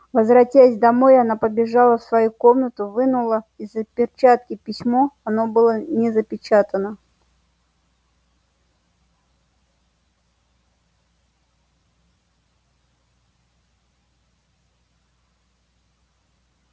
возвратясь домой она побежала в свою комнату вынула из-за перчатки письмо оно было не запечатано